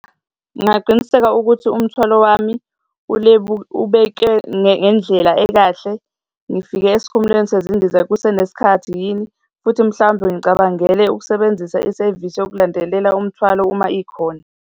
Ngingaqiniseka ukuthi umthwalo wami ubeke ngendlela ekahle. Ngifike esikhumulweni sezindiza kusenesikhathi yini, futhi mhlawumbe ngicabangele ukusebenzisa isevisi yokulandelela umthwalo uma ikhona.